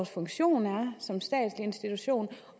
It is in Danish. funktion man har som statslig institution